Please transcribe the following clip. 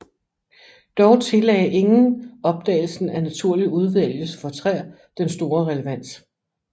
Dog tillagde ingen opdagelsen af naturlig udvælgelse for træer den store relevans